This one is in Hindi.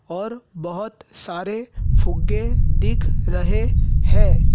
और बहुत सारे फुग्गे दिख रहे हैं।